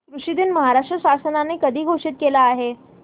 कृषि दिन महाराष्ट्र शासनाने कधी घोषित केला आहे